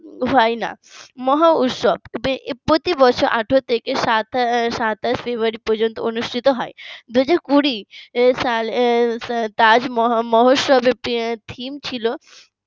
হয় না মহা উৎসব প্রতিবছর আঠারো থেকে সাতাশ February পর্যন্ত অনুষ্ঠিত হয় দুই হাজার কুড়ি সালে তাজমহোৎসবের theme ছিল